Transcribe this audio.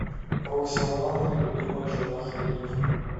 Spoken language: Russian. роксолана любимая жена халифа